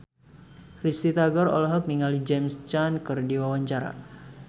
Risty Tagor olohok ningali James Caan keur diwawancara